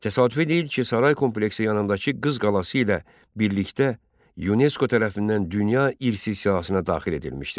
Təsadüfi deyil ki, saray kompleksi yanındakı Qız qalası ilə birlikdə UNESCO tərəfindən Dünya irsi siyahısına daxil edilmişdir.